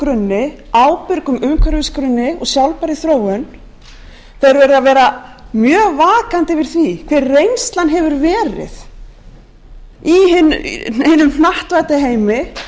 grunni ábyrgum umhverfisgrunni og sjálfbærri þróun verða að vera mjög vakandi yfir því hver reynslan hefur verið í hinum hnattvædda heimi